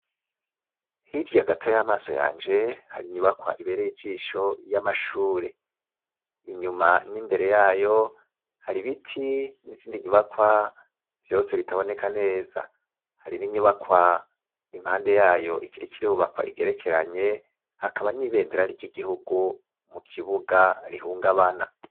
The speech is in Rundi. Hirya gato y'amaso yanje hari inyubakwa ibere y'ijisho y'amashure inyuma n'imbere yayo hari ibiti n'izindi nyubakwa vyose bitaboneka neza hari n'inyubakwa impande yayo ikiri ikirubakwa igerekeranye hakaba n'ibendera ry'igihuguu u kibuga rihunga abana.